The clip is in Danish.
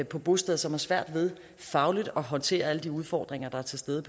på bosteder som har svært ved fagligt at håndtere alle de udfordringer der er til stede